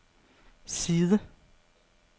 side